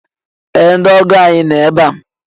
Ee! Ndị ọgọ ànyị no ebe a.